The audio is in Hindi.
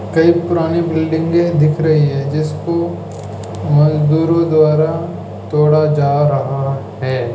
कई पुरानी बिल्डिंगे दिख रही हैं जिसको मजदूरों द्वारा तोड़ा जा रहा है।